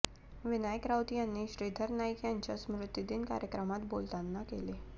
विनायक राऊत यांनी श्रीधर नाईक यांच्या स्मृतीदिन कार्यक्रमात बोलताना केले